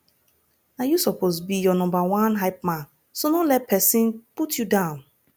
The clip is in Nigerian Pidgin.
na yu soppose be yur nomba one hypeman so no let pesin put yu down